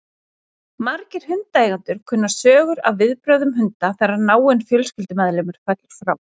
Margir hundaeigendur kunna sögur af viðbrögðum hunda þegar náinn fjölskyldumeðlimur fellur frá.